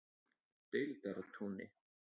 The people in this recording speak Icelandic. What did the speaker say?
Deildartúni